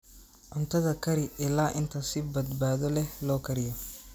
Cuntada kari ilaa inta si badbaado leh loo kariyo.